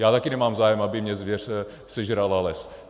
Já také nemám zájem, aby mi zvěř sežrala les.